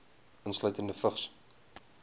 insluitende vigs